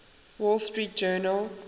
wall street journal